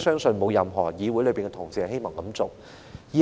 所以，問題